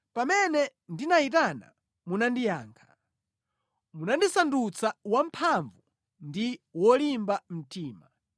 Pamene ndinayitana, munandiyankha; munandisandutsa wamphamvu ndi wolimba mtima.